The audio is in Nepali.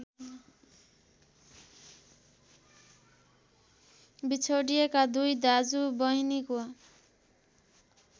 बिछोडिएका दुई दाजुबहिनीको